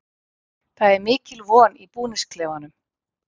Það er mikil von í búningsklefanum.